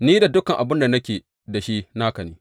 Ni da dukan abin da nake da shi, naka ne.